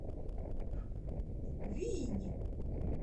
винь